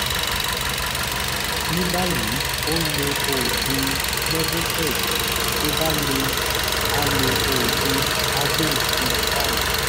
ní báyìí ó ń lo oògùn levocet tó bá le á lo oògùn avil twenty five